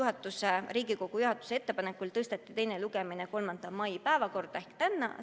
Vastavalt Riigikogu juhatuse ettepanekule aga tõsteti teine lugemine 3. mai päevakorda ehk tänasesse.